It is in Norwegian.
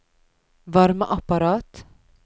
varmeapparat